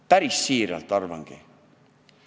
Päris siiralt arvangi!